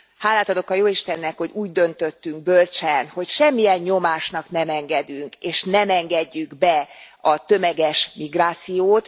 Hálát adok a jóistennek, hogy úgy döntöttünk bölcsen, hogy semmilyen nyomásnak nem engedünk, és nem engedjük be a tömeges migrációt.